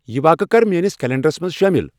یِہ واقعہٕ کر میٲنِس کلینڈرس منز شٲمل ۔